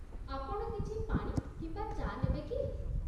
ଆପଣ କିଛି ପାଣି କିମ୍ବା ଚା' ନେବେ କି?